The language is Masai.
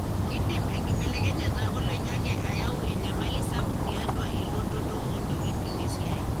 kindim enkibelekenyata oloingange ayau enyamali sapuk tiatua elototo ontokitin esiai.